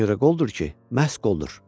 Bu ona görə qoldur ki, məhz qoldur.